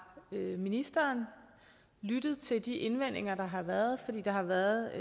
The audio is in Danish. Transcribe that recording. ministeren lyttet til de indvendinger der har været fordi der har været